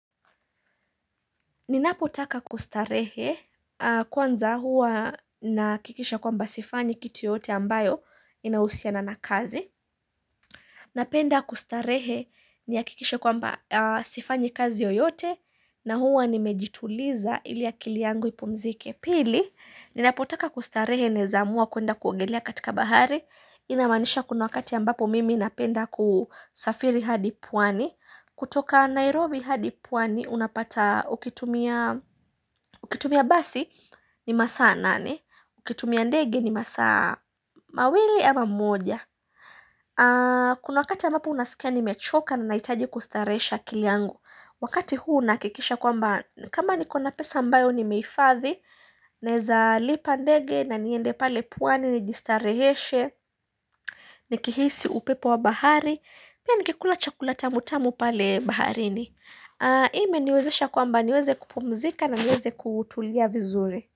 Ninapotaka kustarehe kwanza huwa naakikisha kwa mba sifanyi kitu yoyote ambayo inahusiana na kazi. Napenda kustarehe ni akikishe kwa mba sifanyi kazi yoyote na huwa nimejituliza ili akili yangu ipumzike pili. Ninapotaka kustarehe naeza amuwa kuenda kuongelea katika bahari. Inamanisha kuna wakati ambapo mimi napenda kusafiri hadipwani. Kutoka Nairobi hadi pwani unapata ukitumia basi ni masaa nane Ukitumia ndege ni masaa mawili ama moja Kuna wakati ambapo unasikia ni mechoka na naitaji kustarehesha akili yangu Wakati huu nahakikisha kwa mba kama nikona pesa ambayo ni meifadhi Naeza lipa ndege na niende pale pwani ni jistareheshe Nikihisi upepo wa bahari Pia nikikula chakula ta mutamu pale baharini ime niwezesha kwa mba niweze kupumzika na niweze kutulia vizuri.